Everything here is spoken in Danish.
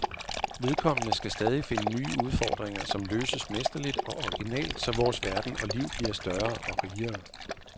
Vedkommende skal stadigt finde nye udfordringer, som løses mesterligt og originalt så vores verden og liv bliver større og rigere.